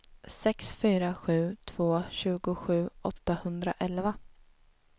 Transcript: sex fyra sju två tjugosju åttahundraelva